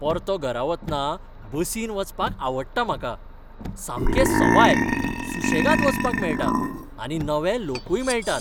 परतो घरा वतना बसीन वचपाक आवडटा म्हाका. सामकें सवाय, सुशेगाद वचपाक मेळटा आनी नवे लोकूय मेळटात.